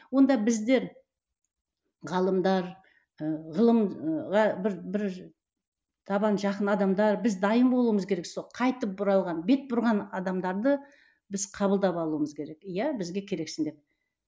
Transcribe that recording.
онда біздер ғалымдар ы ғылымға бір бір табан жақын адамдар біз дайын болуымыз керек сол қайтып оралған бет бұрған адамдарды біз қабылдап алуымыз керек иә бізге керексің деп